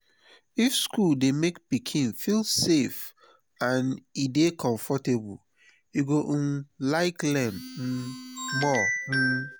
if school dey make pikin feel safe and e dey comfortable e go um like learn um more. um